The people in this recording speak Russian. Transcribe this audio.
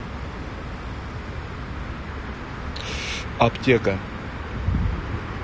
аптека